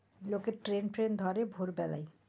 লোকে train ফ্রেন ধরে ভোরবেলাই।